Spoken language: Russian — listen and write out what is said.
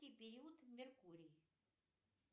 период меркурий